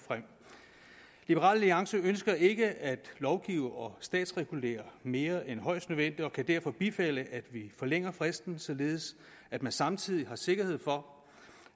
liberal alliance ønsker ikke at lovgive og statsregulere mere end højst nødvendigt og kan derfor bifalde at vi forlænger fristen således at man samtidig har sikkerhed for